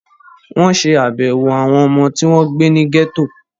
Wọ́n ṣé àbẹ̀wò àwọn ọmọ tí wọ́n gbé ní gẹ́tò